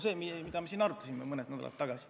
See on see, mida me siin arutasime mõni nädal tagasi.